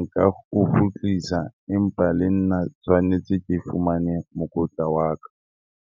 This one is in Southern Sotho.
nka o kgutlisa empa le nna tshwanetse ke fumane mokotla wa ka.